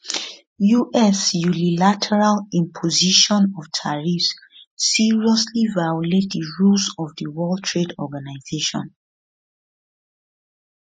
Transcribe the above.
us unilateral imposition of tariffs seriously violate di rules of di world trade organization